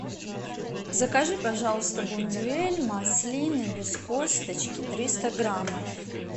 закажи пожалуйста бондюэль маслины без косточки триста граммов